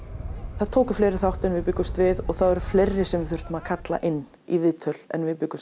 það tóku fleiri þátt en við bjuggumst við og það voru fleiri sem við þurftum að kalla inn í viðtöl en við bjuggumst